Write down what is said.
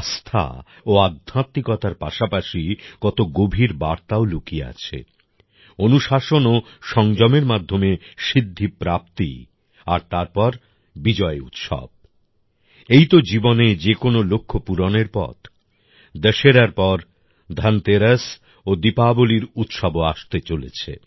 আস্থা ও আধ্যাত্মিকতার পাশাপাশি কত গভীর বার্তাও লুকিয়ে আছে অনুশাসন ও সংযমের মাধ্যমে সিদ্ধিপ্রাপ্তি আর তারপর বিজয় উৎসব এই তো জীবনে যে কোন লক্ষ্য পূরণের পথ দশেরার পর ধনতেরাস ও দীপাবলীর উৎসবও আসতে চলেছে